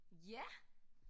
Ja!